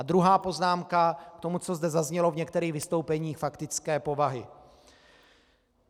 A druhá poznámka k tomu, co zde zaznělo v některých vystoupeních faktické povahy.